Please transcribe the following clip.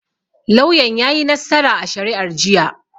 Lauyan yayi nassara a shari'ar jiya.